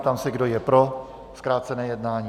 Ptám se, kdo je pro zkrácené jednání.